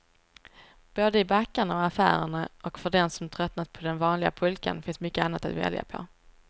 Både i backarna och affärerna, och för den som tröttnat på den vanliga pulkan finns mycket annat att välja på.